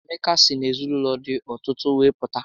Emeka si n'ezinaụlọ dị ọtụtụ wee pụta